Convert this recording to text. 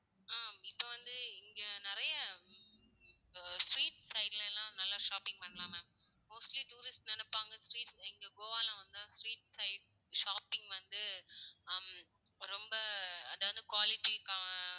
ஆஹ் இப்போ வந்து இங்க நிறைய ஹம் இப்போ street side ல எல்லாம் நல்லா shopping பண்ண்லாம் ma'am mostly tourist நினைப்பாங்க street இங்க கோவால வந்தா street side shopping வந்து ஹம் ரொம்ப அதாவது quality க்காக